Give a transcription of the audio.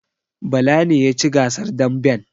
Bala ne ya ci gasar damben